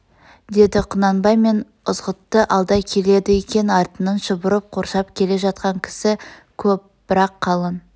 дед құнанбай мен ызғұтты алда келеді екен артынан шұбырып қоршап келе жатқан кісі көп бірақ қалың